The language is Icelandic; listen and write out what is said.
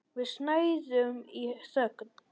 Við snæðum í þögn.